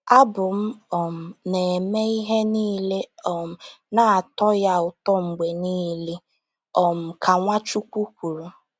“Abụ m um na-eme ihe niile um na-atọ Ya ụtọ mgbe niile,” um ka Nwachukwu kwuru.